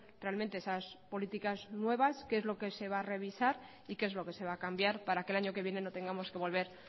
realmente esas políticas nuevas qué es lo que se va a revisar y qué es lo que se va a cambiar para que el año que viene no tengamos que volver